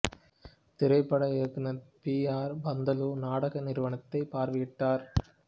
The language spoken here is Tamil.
திரைப்பட இயக்குனர் பி ஆர் பந்துலு நாடக நிறுவனத்தை பார்வையிட்டார்